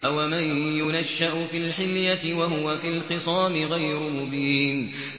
أَوَمَن يُنَشَّأُ فِي الْحِلْيَةِ وَهُوَ فِي الْخِصَامِ غَيْرُ مُبِينٍ